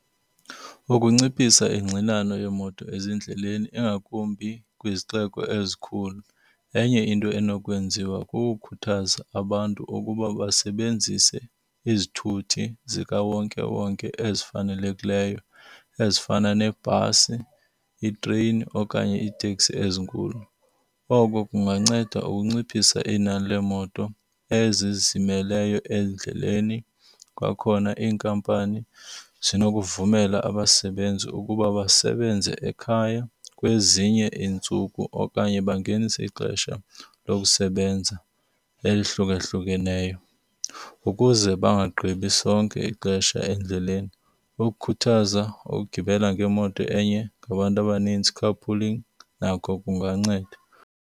Ukunciphisa ingxinano yeemoto ezindleleni ingakumbi kwizixeko ezikhulu enye into enokwenziwa kukukhuthaza abantu ukuba basebenzise izithuthi zikawonkewonke ezifanelekileyo ezifana nebhasi, itreyini okanye iteksi ezinkulu. Oko kunganceda ukunciphisa inani leemoto ezizimeleyo endleleni. Kwakhona iinkampani zinokuvumela abasebenzi ukuba basebenze ekhaya kwezinye iintsuku okanye bangenise ixesha lokusebenza elihlukahlukeneyo ukuze bangagqibi sonke ixesha endleleni. Ukukhuthaza ukugibela kwimoto enye ngabantu abanintsi carpooling nako kunganceda.